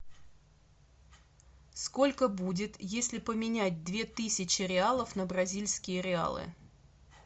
сколько будет если поменять две тысячи реалов на бразильские реалы